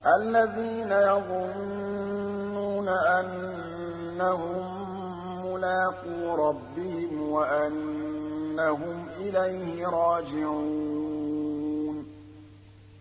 الَّذِينَ يَظُنُّونَ أَنَّهُم مُّلَاقُو رَبِّهِمْ وَأَنَّهُمْ إِلَيْهِ رَاجِعُونَ